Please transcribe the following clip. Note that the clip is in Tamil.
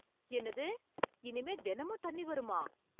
என்னது, இனிமேல் தினமும் தண்ணி வருமா?